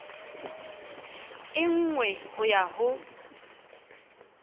e nngwe ho ya ho